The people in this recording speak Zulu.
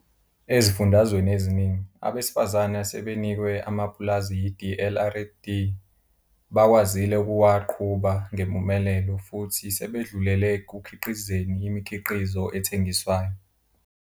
Ezifundazweni eziningi, abesifazane asebenikwe amapulazi yi-DLRD bakwazile ukuwaqhuba ngempumelelo futhi sebedlulele ekukhiqizeni imikhiqizo ethengiswayo.